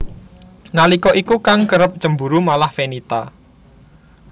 Nalika iku kang kerep cemburu malah Fenita